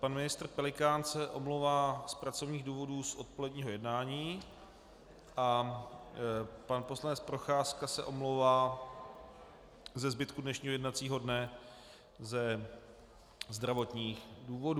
Pan ministr Pelikán se omlouvá z pracovních důvodů z odpoledního jednání a pan poslanec Procházka se omlouvá ze zbytku dnešního jednacího dne ze zdravotních důvodů.